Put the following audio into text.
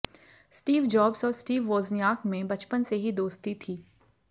Steve Jobs और Steve Wozniak में बचपन से ही दोस्ती थी